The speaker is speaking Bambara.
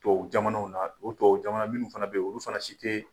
Tubabu jamanaw na o tubabu jamana minnu fana bɛ ye olu fana si tɛ.